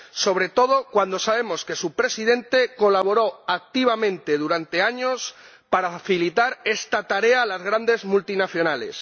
sobre todo cuando sabemos que su Presidente colaboró activamente durante años para facilitar esta tarea a las grandes multinacionales.